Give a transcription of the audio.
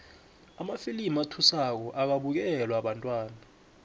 amafilimu athusako akabukelwa bantwana